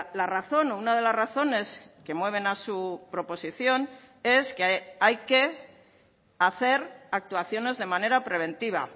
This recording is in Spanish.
la razón o una de las razones que mueven a su proposición es que hay que hacer actuaciones de manera preventiva